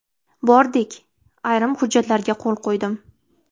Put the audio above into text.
Bordik, ayrim hujjatlarga qo‘l qo‘ydim.